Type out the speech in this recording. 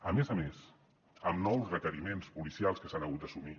a més a més amb nous requeriments policials que s’han hagut d’assumir